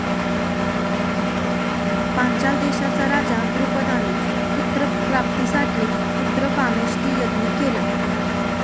पांचाल देशाचा राजा द्रुपदाने पुत्रप्राप्तीसाठी पुत्रकामेष्टी यज्ञ केला.